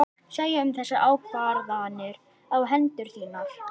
Segja um þessar ákvarðanir á hendur þínar?